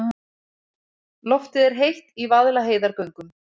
Loftið er heitt í Vaðlaheiðargöngum.